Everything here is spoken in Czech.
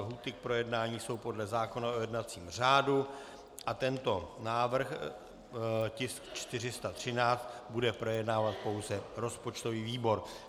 Lhůty k projednání jsou podle zákona o jednacím řádu a tento návrh, tisk 413, bude projednávat pouze rozpočtový výbor.